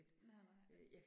Nej nej